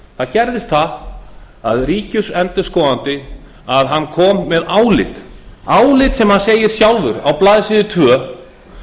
það gerðist það að ríkisendurskoðandi kom með álit álit sem hann segir sjálfur á blaðsíðu tvö